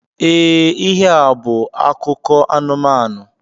E, ihe a bú akụkọ anumanu